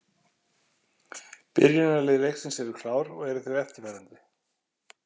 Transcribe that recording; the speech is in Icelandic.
Byrjunarlið leiksins eru klár og eru þau eftirfarandi: